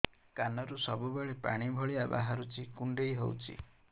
କାନରୁ ସବୁବେଳେ ପାଣି ଭଳିଆ ବାହାରୁଚି କୁଣ୍ଡେଇ ହଉଚି